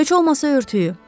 Heç olmasa örtüyü.